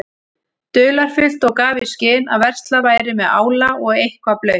dularfullt og gaf í skyn að verslað væri með ála og eitthvað blautt.